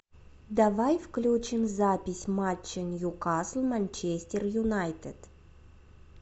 давай включим запись матча ньюкасл манчестер юнайтед